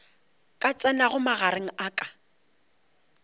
ka tsenago magareng a ka